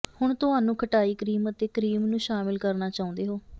ਹੁਣ ਤੁਹਾਨੂੰ ਖਟਾਈ ਕਰੀਮ ਅਤੇ ਕਰੀਮ ਨੂੰ ਸ਼ਾਮਿਲ ਕਰਨਾ ਚਾਹੁੰਦੇ ਹੋ